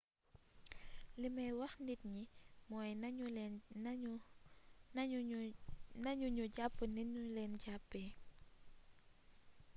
limay wax nit ñi mooy nañu ñu jàpp ni ñu leen jàppee